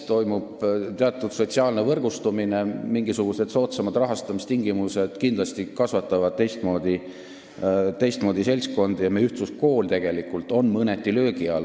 Toimub teatud sotsiaalne võrgustumine nagu vene koolis, mingisugused soodsamad rahastamistingimused kasvatavad kindlasti teistmoodi seltskonda ja meie ühtluskool tegelikult on mõneti löögi all.